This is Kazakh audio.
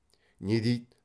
не дейді